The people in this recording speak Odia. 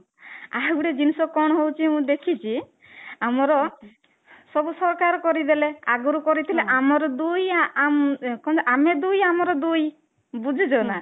ଆଉ ଗୋଟେ ଜିନିଷ କଣ ହଉଛି ମୁଁ ଦେଖିଛି ଆମର ସବୁ ସରକାର କରିଦେଲେ ଆଗରୁ କରିଥିଲେ ଆମର ଦୁଇ କଣ ଆମେ ଦୁଇ ଆମର ଦୁଇ ବୁଝୁଛ ନା